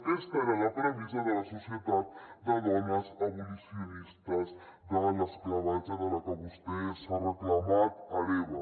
aquesta era la premissa de la societat de dones abolicionistes de l’esclavatge de la que vostè s’ha reclamat hereva